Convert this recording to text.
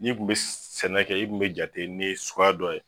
N'i kun bɛ sɛnɛ kɛ i kun bɛ jate ni ye suguya dɔ ye